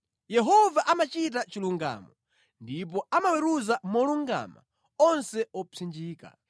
Yehova amachita chilungamo ndipo amaweruza molungama onse opsinjika.